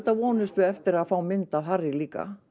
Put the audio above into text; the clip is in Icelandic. vonumst við eftir að fá mynd af Harry líka